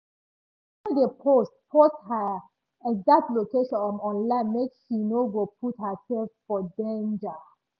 she no dey post post her exact location um online make she no go put herself for danger.